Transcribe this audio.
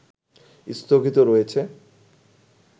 স্থগিত রয়েছে